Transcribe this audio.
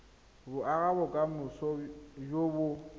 go aga bokamoso jo bo